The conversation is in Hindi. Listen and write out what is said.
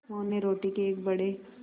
मोहन ने रोटी के एक बड़े